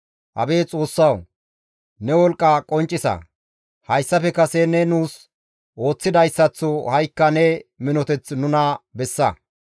Abeet Xoossawu! Ne wolqqa qonccisa. Hayssafe kase ne nuus ooththidayssaththo ha7ikka ne minoteth nuna bessa.